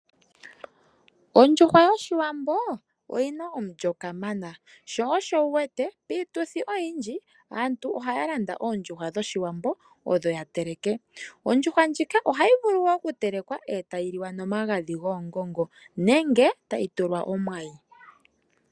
Ondjuhwa yOshiwambo oyi na omulyo kamana. Piituthi oyindji aantu ohaa landa oondjuhwa dhOshiwambo odho ya teleke. Ohayi vulu oku telekwa etayi liwa nomagadhi goongongo nenge tayi tulwa omwayi.